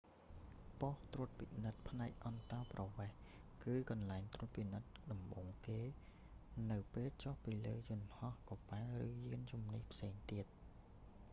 ប៉ុស្ដិ៍ត្រួតពិនិត្យផ្នែកអន្តោប្រវេសន៍ គឺកន្លែងត្រួតពិនិត្យដំបូងគេ នៅពេលចុះពីលើយន្តហោះ កប៉ាល់ ឬយានជំនិះផ្សេងទៀត